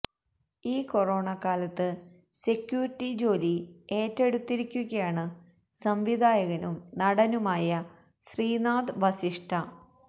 ഈ കൊറോണ കാലത്ത് സെക്യൂരിറ്റി ജോലി ഏറ്റെടുത്തിരിക്കുകയാണ് സംവിധായകനും നടനുമായ ശ്രീനാഥ് വസിഷ്ഠ